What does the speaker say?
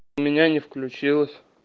у меня не включилась